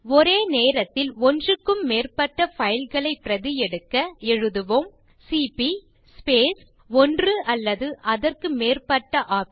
ஒரே நேரத்தில் ஒன்றுக்கும் மேற்பட்ட பைல் களை பிரதி எடுக்க எழுதுவோம் சிபி ஸ்பேஸ் ஒன்று அல்லது அதற்கு மேற்பட்ட OPTION